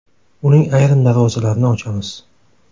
Uning ayrim darvozalarini ochamiz.